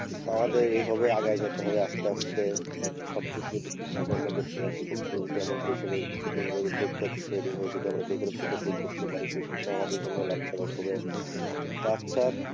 আমাদের এইভাবে আগায় যেতে হবে আস্তে আস্তে সবকিছু যদি ঠিকভাবে আমরা করতে পারি সেক্ষেত্রে যদি আমাদের দেশের প্রতি এইভাবে উদ্যোগটা তৈরি হয়ে যদি আমরা বেকারত্বটা দূর করতেও পারি সেইক্ষেত্রেও আমাদের জন্য লাভজনক হবে। আচ্ছা,